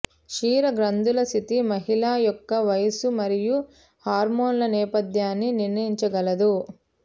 క్షీర గ్రంధుల స్థితి మహిళ యొక్క వయస్సు మరియు హార్మోన్ల నేపథ్యాన్ని నిర్ణయించగలదు